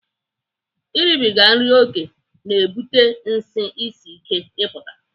Ịrịbịga nri oke na-ebute nsị isi ike ịpụta.